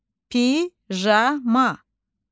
Pijama.